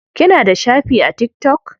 Kina da shafi a tiktok?